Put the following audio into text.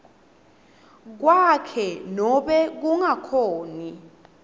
kwakhe nobe kungakhoni